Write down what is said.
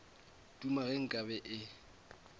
duma ge nka be e